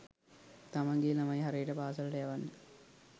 තමන්ගෙ ළමයි හරියට පාසලට යවන්න